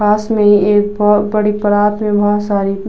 पास में एक पड़ी परात में बहोत सारी --